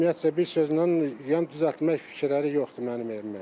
Ümumiyyətcə bir sözlə yəni düzəltmək fikirləri yoxdur mənim evimə.